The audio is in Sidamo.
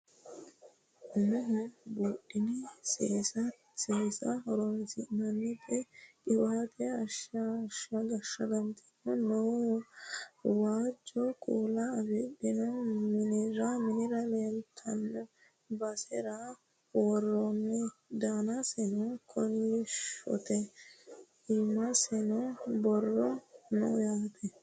umoho buudhine seesate horonsi'nanniti qiwaate ashshagante noowa waajjo kuula afirino minira leeltanno basera worroonni danaseno kolishshote iimaseno borro no yaate